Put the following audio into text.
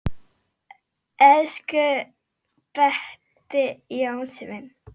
Elsku besti Jonni minn.